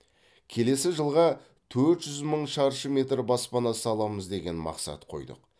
келесі жылға төрт жүз мың шаршы метр баспана саламыз деген мақсат қойдық